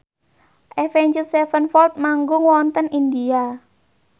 Avenged Sevenfold manggung wonten India